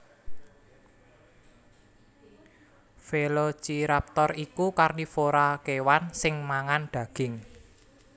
Velociraptor iku karnivora kèwan sing mangan daging